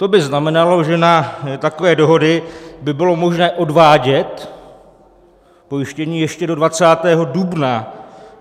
To by znamenalo, že na takové dohody by bylo možné odvádět pojištění ještě do 20. dubna.